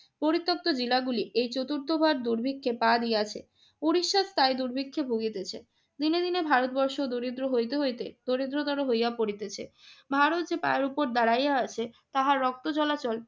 পরিত্যক্ত জেলাগুলি এই চতুর্থবার দুর্ভিক্ষে পা দিয়ে আসে উড়িষ্যার সাই দুর্ভিক্ষে ভুগিতেছে। দিনে দিনে ভারতবর্ষ দরিদ্র হইতে হইতে দরিদ্রতর হইয়া পড়িতেছে। ভারত যে পায়ের উপর দাঁড়াইয়া আছে তাহার রক্ত চলাচল